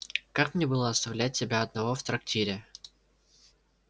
как мне было оставлять тебя одного в трактире